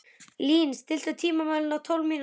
Lín, stilltu tímamælinn á tólf mínútur.